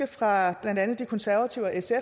fra blandt andet de konservatives og